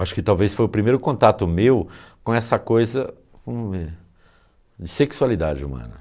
Acho que talvez foi o primeiro contato meu com essa coisa de sexualidade humana.